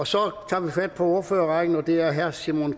så tager vi fat på ordførerrækken og det er herre simon